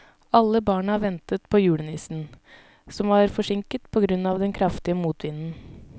Alle barna ventet på julenissen, som var forsinket på grunn av den kraftige motvinden.